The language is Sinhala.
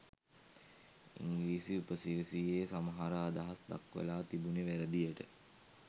ඉංග්‍රීසි උපසිරසියෙ සමහර අදහස් දක්වලා තිබුණෙ වැරදියට.